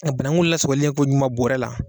A banagun lasagolenko ɲuman bɔɔrɛ la.